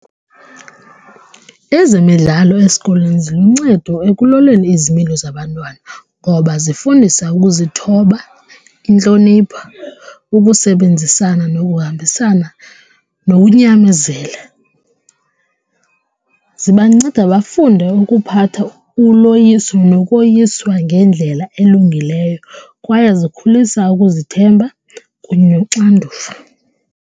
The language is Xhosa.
Ezemidlalo esikolweni ziluncedo ekuloleni izimilo zabantwana ngoba zifundisa ukuzithoba, intlonipha ukusebenzisana nokuhambisana nokunyamezela. Zibanceda bafunde ukuphatha uloyiso nokoyiswa ngendlela elungileyo kwaye zikhulisa ukuzithemba kunye noxanduva.